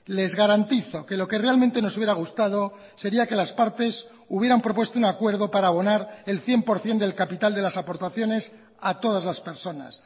les garantizo que lo que realmente nos hubiera gustado sería que las partes hubieran propuesto un acuerdo para abonar el cien por ciento del capital de las aportaciones a todas las personas